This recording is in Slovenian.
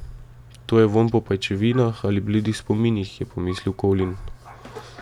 To je vonj po pajčevinah ali bledih spominih, je pomislil Colin.